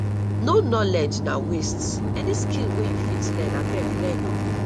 no knowledge na waste any skill wey you fit learn abeg learn o